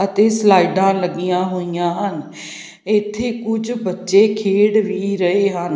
ਅਤੇ ਸਲਾਈਡਾਂ ਲੱਗੀਆਂ ਹੋਈਆਂ ਹਨ ਇੱਥੇ ਕੁਝ ਬੱਚੇ ਖੇਡ ਵੀ ਰਹੇ ਹਨ।